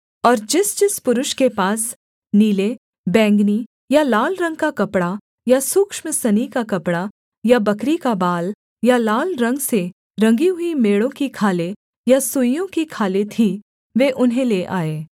और जिसजिस पुरुष के पास नीले बैंगनी या लाल रंग का कपड़ा या सूक्ष्म सनी का कपड़ा या बकरी का बाल या लाल रंग से रंगी हुई मेढ़ों की खालें या सुइसों की खालें थीं वे उन्हें ले आए